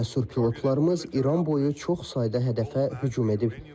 Cəsur pilotlarımız İran boyu çox sayda hədəfə hücum edib.